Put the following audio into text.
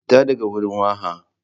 Fita daga wurin waha!